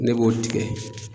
Ne b'o tigɛ